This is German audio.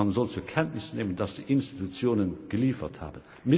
Man soll zur Kenntnis nehmen, dass die Institutionen geliefert haben.